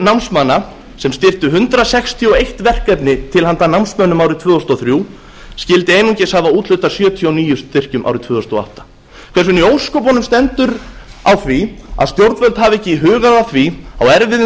námsmanna sem styrkti hundrað sextíu og eitt verkefni til handa námsmönnum árið tvö þúsund og þrjú skyldi einungis hafa úthlutað sjötíu og níu styrkjum árið tvö þúsund og átta hvernig í ósköpunum stendur á því að stjórnvöld hafa ekki hugað að því á einum